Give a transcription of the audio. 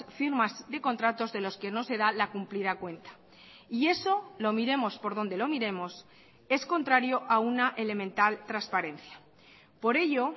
firmas de contratos de los que no se da la cumplida cuenta y eso lo miremos por donde lo miremos es contrario a una elemental transparencia por ello